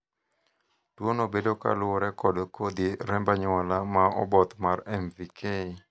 tuono bedo koluwore kod kodhi remb anyuola ma oboth mar MVK